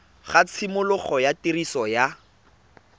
ga tshimologo ya tiriso ya